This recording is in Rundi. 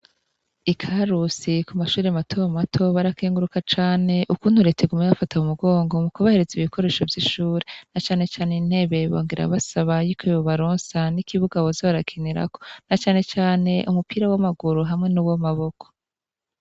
I Karusi ku mashuri mato mato barakenguruka cane ukuntu reta iguma ibafashe mu mugongo mu kubahereza ibikoresho vyishure na cane cane intebe, bongera basaba yuko yobaronsa n'ikibuga boza barakinirako na cane cane umupira w'amaguru hamwe n'uwamaboko.